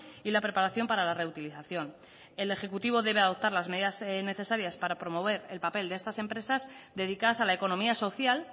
y la preparación para la reutilización el ejecutivo debe adoptar las medidas necesarias para promover el papel de estas empresas dedicadas a la economía social